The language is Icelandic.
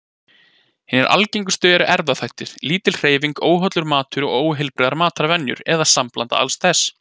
Hinar algengustu eru erfðaþættir, lítil hreyfing, óhollur matur og óheilbrigðar matarvenjur, eða sambland alls þessa.